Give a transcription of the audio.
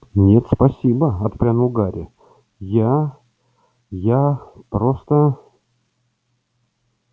нет спасибо отпрянул гарри я я просто